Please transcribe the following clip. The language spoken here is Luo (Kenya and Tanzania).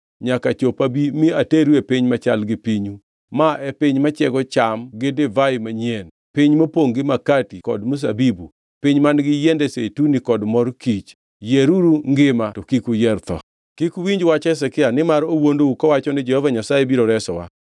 nyaka chop abi mi ateru e piny machal gi pinyu, ma en piny machiego cham gi divai manyien, piny mopongʼ gi makati kod mzabibu, piny man-gi yiende zeituni kod mor kich. Yieruru ngima, to kik uyier tho! “Kik uwinj wach Hezekia, nimar owuondou kowacho ni, ‘Jehova Nyasaye biro resowa.’